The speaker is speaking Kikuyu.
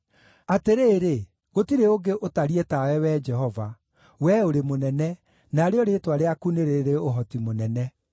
Atĩrĩrĩ, gũtirĩ ũngĩ ũtariĩ tawe, Wee Jehova; Wee ũrĩ mũnene, narĩo rĩĩtwa rĩaku nĩ rĩrĩ ũhoti mũnene.